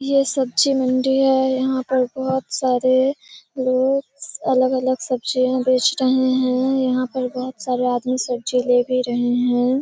ये सब्जी मंडी है यहाँ पर बहुत सारे लोग अलग-अलग सब्जियाँ बेच रहे है यहाँ पे बहुत सारे आदमी सब्जियाँ ले भी रहे है |